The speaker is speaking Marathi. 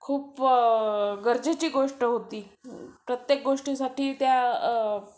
खूप गरजेची गोष्ट होती, प्रत्येक गोष्टीसाठी त्या